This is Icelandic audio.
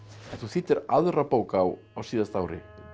en þú þýddir aðra bók á á síðasta ári